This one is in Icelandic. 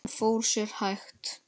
Hún fór sér hægt.